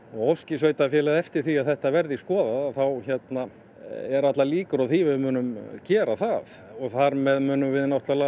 óski sveitarfélagið eftir því að þetta verði skoðað þá eru allar líkur á því að við munum gera það og þar með munum við